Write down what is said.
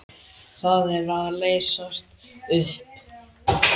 Það er að leysast upp.